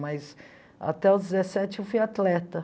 Mas até os dezessete eu fui atleta.